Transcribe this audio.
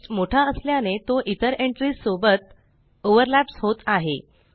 text मोठा असल्याने तो इतर एंट्रीस सोबत ओवरलॅप्स होत आहे